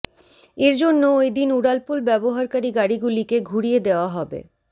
এর জন্য ওইদিন উড়ালপুল ব্যবহারকারী গাড়িগুলিকে ঘুরিয়ে দেওয়া হবে